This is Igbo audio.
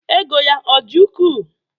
Ego ya ọ dị ukwuu?